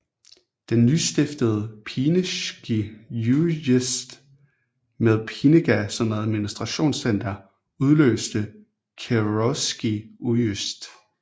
Den nystiftede Pineschski ujesd med Pinega som administrationscenter afløste Kewrolski ujesd